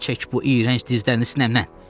Çək bu iyrənc dizlərini sinəmdən.